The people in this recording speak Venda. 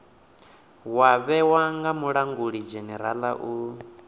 wa vhewa nga mulangulidzhenerala u